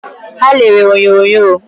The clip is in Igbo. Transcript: Ha lere onyonyo